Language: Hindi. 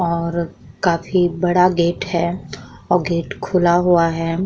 और काफी बड़ा गेट है और गेट खुला है।